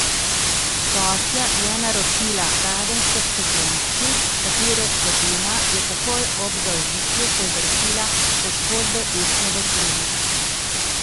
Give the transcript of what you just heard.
Gostja je naročila radensko v steklenički, katere vsebina je takoj ob zaužitju povzročila poškodbe ustne votline.